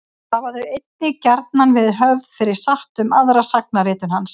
Hafa þau einnig gjarnan verið höfð fyrir satt um aðra sagnaritun hans.